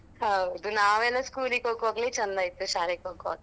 ಹೌದು ನಾವೆಲ್ಲಾ school ಗೆ ಹೋಗ್ವಾಗ್ಲೇ ಚಂದ ಇತ್ತು, ಶಾಲೆಗೇ ಹೋಗ್ವಾಗ.